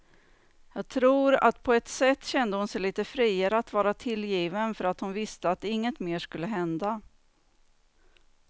Och jag tror att på ett sätt kände hon sig lite friare att vara tillgiven för att hon visste att inget mer skulle hända.